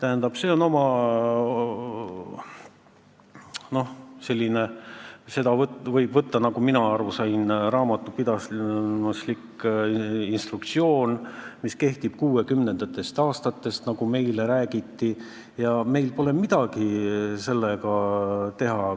Mina sain aru, et seda võib võtta raamatupidamisliku instruktsioonina, mis kehtib 1960. aastatest, nagu meile räägiti, ja meil pole sellega midagi teha.